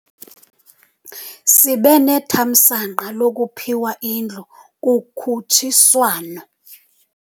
Sibe nethamsanqa lokuphiwa indlu kukhutshiswano.